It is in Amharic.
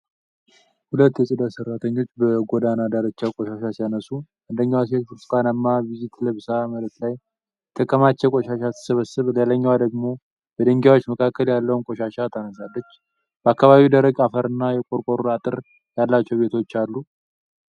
ሁለት የጽዳት ሠራተኞች በጎዳና ዳርቻ ቆሻሻ ሲያነሱ። አንደኛዋ ሴት ብርቱካናማ ቬስት ለብሳ መሬት ላይ የተከማቸ ቆሻሻ ስትሰበስብ ሌላኛዋ ደግሞ በድንጋዮች መካከል ያለውን ቆሻሻ ታነሳለች። በአካባቢው ደረቅ አፈርና የቆርቆሮ አጥር ያላቸው ቤቶች አሉ።